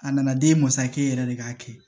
A nana den masakɛ yɛrɛ de k'a kɛ